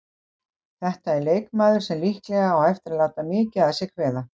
Þetta er leikmaður sem líklega á eftir að láta mikið að sér kveða.